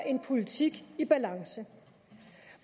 en politik i balance